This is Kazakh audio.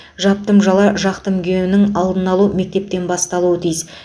жаптым жала жақтым күйенің алдын алу мектептен басталуы тиіс